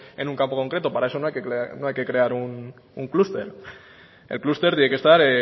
en un campo concreto para eso no hay que crear un clúster el clúster tiene que estar